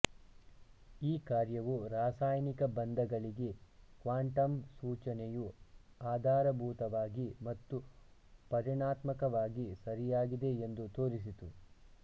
ಈ ಕಾರ್ಯವು ರಾಸಾಯನಿಕ ಬಂಧಗಳಿಗೆ ಕ್ವಾಂಟಂ ಸೂಚನೆಯು ಆಧಾರಭೂತವಾಗಿ ಮತ್ತು ಪರಿಮಾಣಾತ್ಮಕವಾಗಿ ಸರಿಯಾಗಿದೆ ಎಂದು ತೋರಿಸಿತು